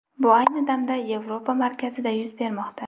Bu ayni damda Yevropa markazida yuz bermoqda.